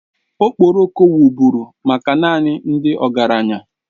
Okporoko wụrụ bụ maka naanị ndị ọgaranya